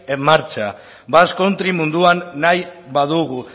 en marcha basque country munduan nahi badugu